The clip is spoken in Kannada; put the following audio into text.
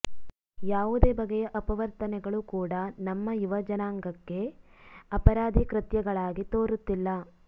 ಯಾವುದೇ ಬಗೆಯ ಅಪವರ್ತನೆಗಳು ಕೂಡಾ ನಮ್ಮ ಯುವಜನಾಂಗಕ್ಕೆ ಅಪರಾಧಿ ಕೃತ್ಯಗಳಾಗಿ ತೋರುತ್ತಿಲ್ಲ